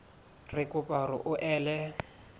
re kopa hore o ele